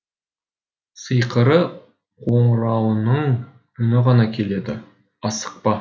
сиқырлы қоңырауының үні ғана келеді асықпа